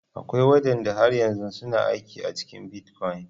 Akwai wadanda har yanzu suna aiki a cikin bitcoin.